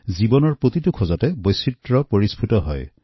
জীৱনৰ প্ৰতিটো আচৰণতে এই বৈচিত্ৰ পৰিলক্ষিত হয়